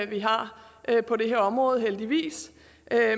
vi har på det her område heldigvis